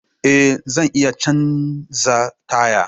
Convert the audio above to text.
Eh! zan iya canza taya